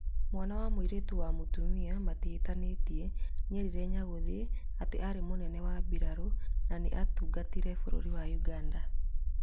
Mwana wa mũirĩtu wa mũtumia matihanĩte nĩerire Nyaguthiĩ atĩ arĩ mũnene wa birarũna nĩ atungatire bũrũrĩ wa ũganda.